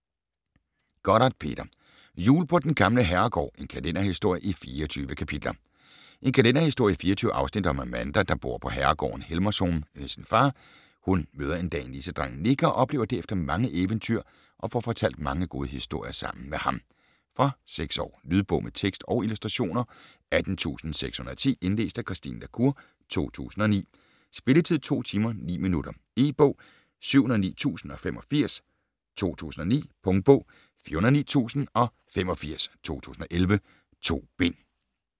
Gotthardt, Peter: Jul på den gamle herregård: en kalenderhistorie i 24 kapitler En kalenderhistorie i 24 afsnit om Amanda der bor på herregården Helmershom med sin far. Hun møder en dag nissedrengen Nik og oplever derefter mange eventyr og får fortalt mange gode historier sammen med ham. Fra 6 år. Lydbog med tekst og illustrationer 18610 Indlæst af Christine La Cour, 2009. Spilletid: 2 timer, 9 minutter. E-bog 709085 2009. Punktbog 409085 2011. 2 bind.